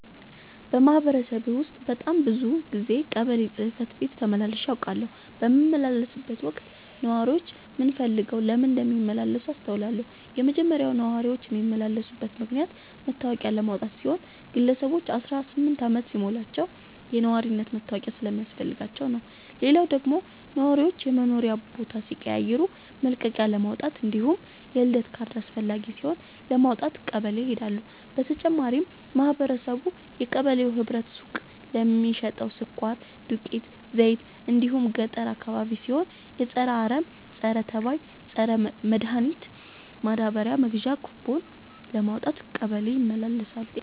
በማህበረሰቤ ውስጥ በጣም ብዙ ጊዜ ቀበሌ ጽህፈት ቤት ተመላልሼ አውቃለሁ። በምመላለስበትም ወቅት ነዋሪዎች ምን ፈልገው ለምን እንደሚመላለሱ አስተውያለሁ የመጀመሪያው ነዋሪዎች የሚመላለሱበት ምክንያት መታወቂያ ለማውጣት ሲሆን ግለሰቦች አስራስምንት አመት ሲሞላቸው የነዋሪነት መታወቂያ ስለሚያስፈልጋቸው ነው። ሌላው ደግሞ ነዋሪዎች የመኖሪያ ቦታ ሲቀይሩ መልቀቂያለማውጣት እንዲሁም የልደት ካርድ አስፈላጊ ሲሆን ለማውጣት ቀበሌ ይሄዳሉ። በተጨማሪም ማህበረቡ የቀበሌው ህብረት ሱቅ ለሚሸተው ስኳር፣ ዱቄት፣ ዘይት እንዲሁም ገጠር አካባቢ ሲሆን የፀረ አረም፣ ፀረተባይ መድሀኒት ማዳበሪያ መግዣ ኩቦን ለማውጣት ቀበሌ ይመላለሳሉ።